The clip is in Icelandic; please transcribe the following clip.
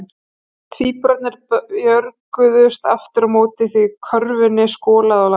Tvíburarnir björguðust aftur á móti því körfunni skolaði á land.